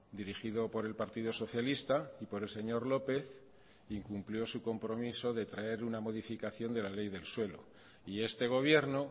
dirigido por el partido socialista y por el señor lópez incumplió su compromiso de traer una modificación de la ley del suelo y este gobierno